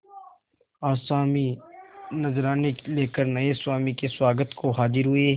आसामी नजराने लेकर नये स्वामी के स्वागत को हाजिर हुए